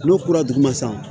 N'o kura duguma san